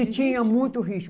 E tinha muito ritmo.